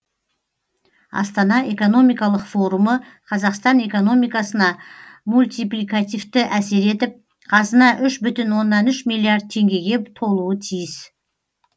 астана экономикалық форумы қазақстан экономикасына мультипликативті әсер етіп қазына үш бүтін оннан үш миллиард теңгеге толуы тиіс